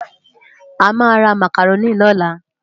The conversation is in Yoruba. Amá rá Mákáróni lólá